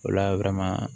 O la